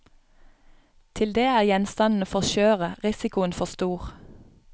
Til det er gjenstandene for skjøre, risikoen for stor.